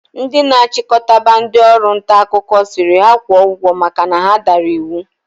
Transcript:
Ndi na achikotaba ndi Ọrụ ntaakụkọ siri ha kwo ugwo maka na ha dara iwu